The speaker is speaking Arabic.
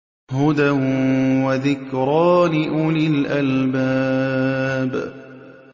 هُدًى وَذِكْرَىٰ لِأُولِي الْأَلْبَابِ